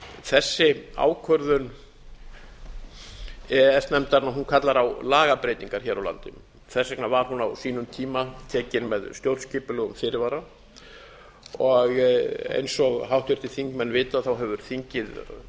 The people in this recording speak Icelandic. þessi ákvörðun e e s nefndarinnar kallar á lagabreytingar hér á landi þess vegna var hún á sínum tíma tekin með stjórnskipulegum fyrirvara og eins og háttvirtir þingmenn vita hefur þingið